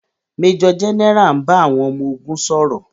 Méjọ̀ gẹ́nẹrà ń bá àwọn ọmọ ogun sọ̀rọ̀.